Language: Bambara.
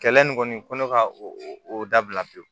Kɛlɛ nin kɔni ko ne ka o o dabila pewu